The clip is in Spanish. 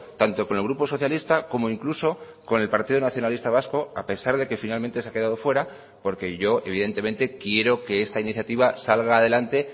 tanto con el grupo socialista como incluso con el partido nacionalista vasco a pesar de que finalmente se ha quedado fuera porque yo evidentemente quiero que esta iniciativa salga adelante